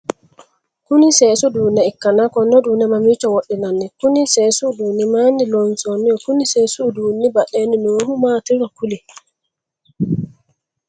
Kunni seesu uduune ikanna konne uduune mamiicho wodhinnanni? Konni seesu uduunne mayinni loonsoonniho? Konni seesu uduunni badheenni noohu maatiro kuli?